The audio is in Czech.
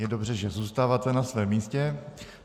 Je dobře, že zůstáváte na svém místě.